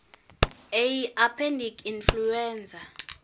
a pandemic influenza